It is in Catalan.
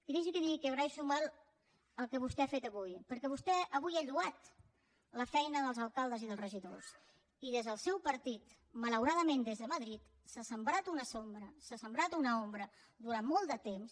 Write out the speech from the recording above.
i deixi que digui que agraeixo molt el que vostè ha fet avui perquè vostè avui ha lloat la feina dels alcaldes i dels regidors i des del seu partit malauradament des de madrid s’ha sembrat una ombra durant molt de temps